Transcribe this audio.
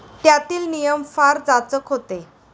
त्यातील नियम फार जाचक होते.